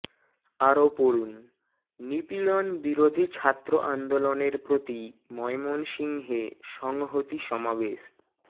আরো পড়ুন নিপীড়ন বিরোধী ছাত্র আন্দোলনের প্রতি ময়মনসিংহে সংহতি সমাবেশ